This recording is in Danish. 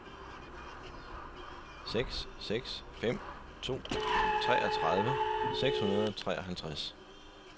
seks seks fem to treogtredive seks hundrede og treoghalvtreds